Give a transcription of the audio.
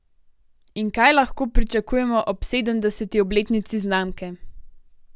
In kaj lahko pričakujemo ob sedemdeseti obletnici znamke?